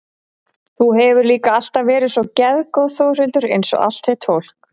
Þú hefur líka alltaf verið svo geðgóð Þórhildur einsog allt þitt fólk.